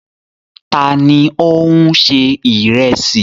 Ta ni ó ń se ìrẹsì?